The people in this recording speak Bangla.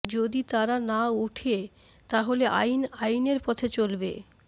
যদি তারা না উঠে তাহলে আইন আইনের পথে চলবে